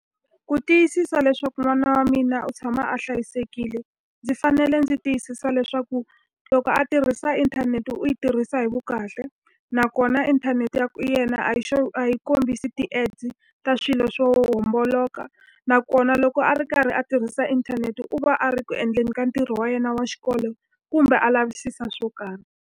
Ku tiyisisa leswaku n'wana wa mina u tshama a hlayisekile, ndzi fanele ndzi tiyisisa leswaku loko a tirhisa inthanete u yi tirhisa hi vu kahle. Nakona inthanete ya yena a yi a yi kombisi ti-ads ta swilo swo homboloka. Nakona loko a ri karhi a tirhisa inthanete u va a ri ku endleni ka ntirho wa yena wa xikolo, kumbe a lavisisa swo karhi.